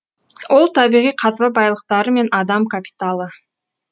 ол табиғи қазба байлықтары мен адам капиталы